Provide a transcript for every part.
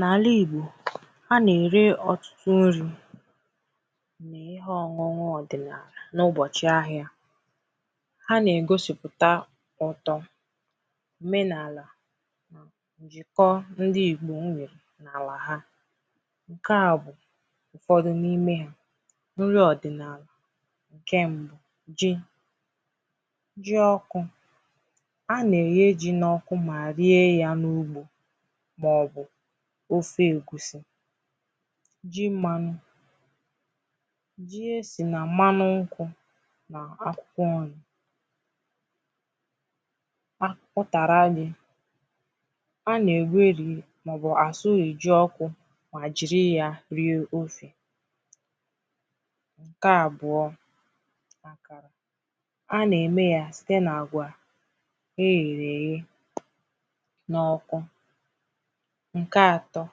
N’àlà Igbò a nà-ère ọ̀tụtụ nrī na ihe ọ̀ñụñụ ọdị̀là n’ụbọ̀chị̀ ahịā ha nà-ègosipụ̀ta ụ̀tọ òmenààlà ǹjìkọ ndi Ìgbò nwè n’àlà ha ǹkè a bụ̀ ụ̀fọdụ n’imē ha nri ọ̀dị̀nààlà ǹkè mbụ̄ ji ji ọkụ̄ a nà-èye ji n’ọkụ mà rie ya n’ugbō màọbụ̀ ofe ègusi ji mmanụ ji e sì nà m̀manụ nkwụ̄ nà akwụkwọ nrī utàrà nrī a nà-èweri màọbụ̀ à sụrì ji ọkụ̄ mà jìri ya rie ofē ǹkè àbụọ a nà-ème ya site nà àgwà e yèrè èye n’ọkụ ǹkè atọ̄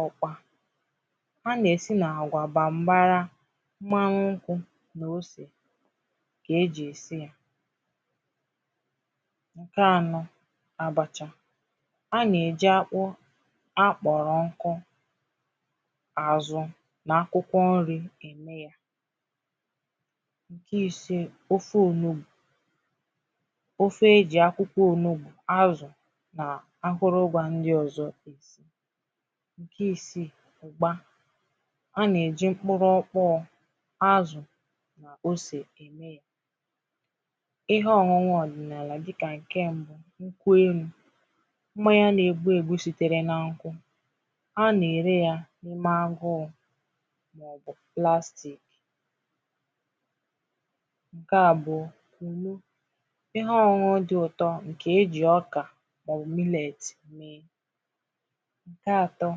ọkwa a nà-èsi nà àgwà baa m̀bara maa nkwụ̄ nà osè kà e jì èsi ya ǹkè anọ̄ àbàchà a nà-èji akpụ akpọ̀rọ̀ nkụ àzụ nà akwụkwọ nri ème ya ǹkè isē ofe ònugbò ofe e jì akwụkwọ ònugbo azụ̀ nà akụrụ ngwā ndi ọ̀zọ è si ǹkè isīi ụ̀gba a nà-èji mkpụrụ̄ ọkpọọ azụ̀ na osè ème ya ihe ọñụñụ ọ̀dị̀nààlà dịkà ǹkè mbụ̄ nkwụ elū mmanya nà-ebu ebū sitere nà nkwụ A na-ère ya n’ime agụụ màọbụ̀ plastic ǹkè a bụ̀ kùnu ihe ọñụ̄ñụ̄ dị ụ̀tọ nke e jì ọkà màọbụ̀ millet ème ǹkè atọ̄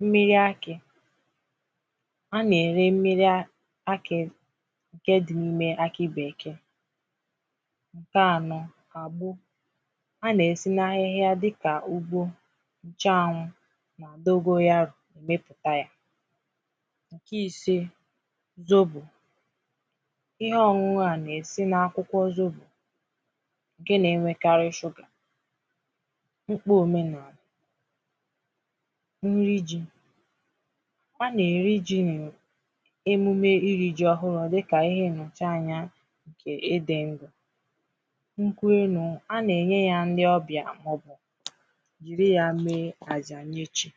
mmịa akị a nà-ère mmiri akị̄ ǹkè di n’ime akị bèkee ǹkè anọ̄ àgbo a nà-èsi n’ahịhịa dikà ugbo ǹchanwụ̄ nà dogoyarò èmepụ̀ta ya ǹkè isē zobò ihe ọñụ̄ñụ̄ a nà-èsi n’akwụkwọ zobò ǹkè nà-enwekarị shụgà mkpu omenààlà nri ji a nà-èri ji emume irī ji ọhụrụ̄ dịkà ihe nnọ̀chi anyā ǹkè ị dī ndụ̀ nkwụ elū a nà-ènye ya ndi ọbịà màọbụ̀ jìri ya mee àjà mmechi